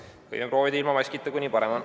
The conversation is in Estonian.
Pigem proovin siis ilma maskita, kui nii parem on.